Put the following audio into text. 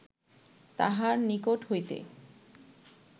তাহার নিকট হইতে